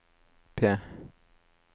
P